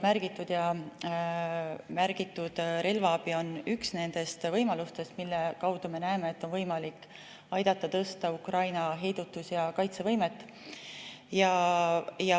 Teie märgitud relvaabi on üks nendest võimalustest, mille kaudu, me seda näeme, on võimalik aidata tõsta Ukraina heidutus‑ ja kaitsevõimet.